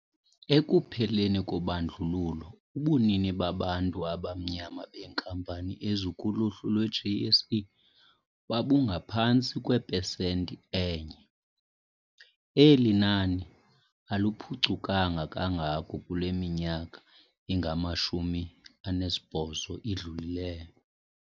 Ekupheleni kobandlululo, ubunini babantu abamnyama beenkampani ezikuluhlu lwe-JSE babungaphantsi kwepesenti enye. Eli nani aliphucukanga kangako kule minyaka ingama-28 idlulileyo.